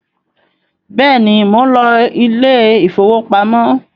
béèni món ló Ilé ìfowópamọ́.